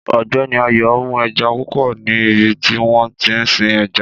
Ọ̀gbẹ́ni Ayọ̀ mú eja púpò ní ibi tí wọ́n tí ń sin ẹja